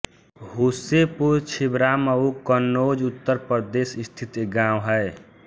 हूसेपुर छिबरामऊ कन्नौज उत्तर प्रदेश स्थित एक गाँव है